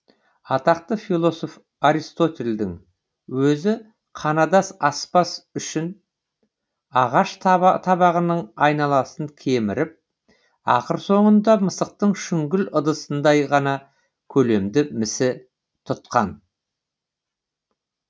атақты философ аристотельдің өзі қанадас аспас үшін ағаш табағының айналасын кеміріп ақыр соңында мысықтың шүңгіл ыдысындай ғана көлемді місі тұтқан